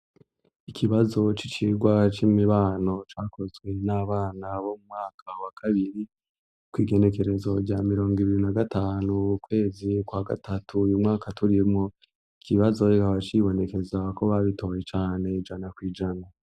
Ikibazo c'icirwa c'imibano cakozwe n'abana bo mu mwaka wa kabiri kw'igenekerezo rya mirongo ibiri na gatanu, ukwezi kwa gatatu uyu mwaka turimwo. Ikibazo kikaba cibonekeza ko babitoye cane ijana kw'ijana.